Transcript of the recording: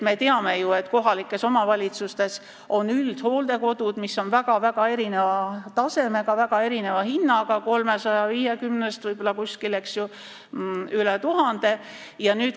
Me teame ju, et kohalikes omavalitsustes on üldhooldekodud, mis on väga-väga erineva tasemega ja väga erineva hinnaga – 350 eurost võib-olla rohkem kui 1000 euroni.